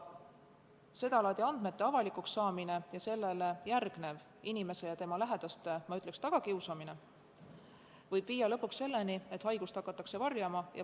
Sedalaadi andmete avalikuks saamine ning sellele järgnev inimese ja tema lähedaste, ma ütleks, tagakiusamine võib lõpuks viia selleni, et haigust hakatakse varjama.